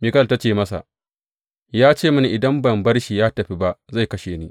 Mikal ta ce masa, Ya ce mini, Idan ban bar shi ya tafi ba, zai kashe ni?’